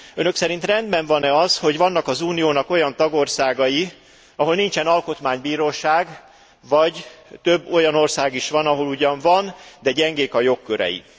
Önök szerint rendben van e az, hogy vannak az Uniónak olyan tagországai, ahol nincsen alkotmánybíróság, vagy több olyan ország is van, ahol ugyan van, de gyengék a jogkörei?